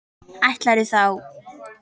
Ætlarðu þá?